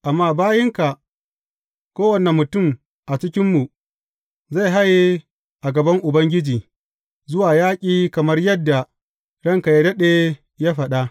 Amma bayinka, kowane mutum a cikinmu zai haye a gaban Ubangiji, zuwa yaƙi kamar yadda ranka yă daɗe ya faɗa.